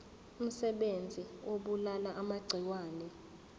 umsebenzi obulala amagciwane